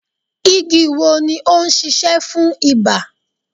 Igi wo ni o ń sisẹ́ fún ibà